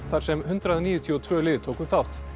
þar sem hundrað níutíu og tvö lið tóku þátt